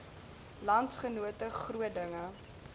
landsgenote groot dinge